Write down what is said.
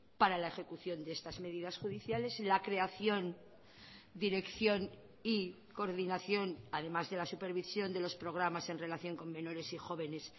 para la ejecución de estas medidas judiciales la creación dirección y coordinación además de la supervisión de los programas en relación con menores y jóvenes